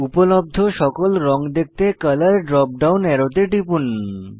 উপলব্ধ সকল রঙ দেখতে কলর ড্রপ ডাউন অ্যারোতে টিপুন